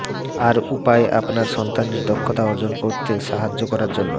আর উপায়ে আপনার সন্তানের দক্ষতা অর্জন করতে সাহায্য করার জন্য